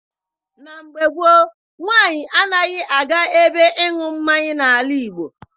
Na mgbe gboo, nwaanyị anaghị aga ebe ịṅụ mmanya n'ala Igbo.